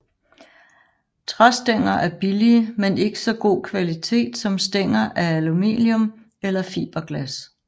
Træstænger er billige men ikke så god kvalitet som stænger af aluminium eller fiberglas